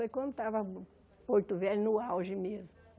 Foi quando estava Porto Velho no auge mesmo.